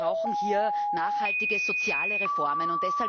Wir brauchen hier nachhaltige soziale Reformen.